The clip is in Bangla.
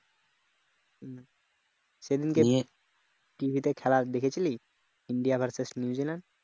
সেদিন কে cricket খেলা দেখেছিলি india vs newzealand